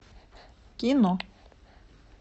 кино